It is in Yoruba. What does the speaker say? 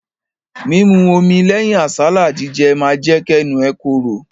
Mímu omi lẹ́yìn àsálà jíjẹ ma jẹ́ kẹ́nu ẹ korò.